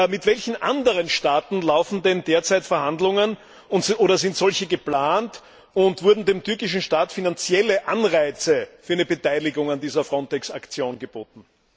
Mit welchen anderen Staaten laufen denn derzeit Verhandlungen oder sind solche geplant, und wurden dem türkischen Staat finanzielle Anreize für eine Beteiligung an dieser FRONTEX Aktion geboten?